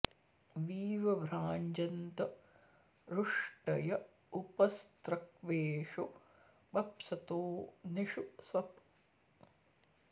weave भ्राजन्त ऋष्टय उप स्रक्वेषु बप्सतो नि षु स्वप